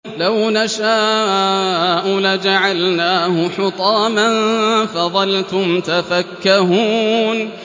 لَوْ نَشَاءُ لَجَعَلْنَاهُ حُطَامًا فَظَلْتُمْ تَفَكَّهُونَ